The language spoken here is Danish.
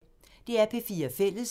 DR P4 Fælles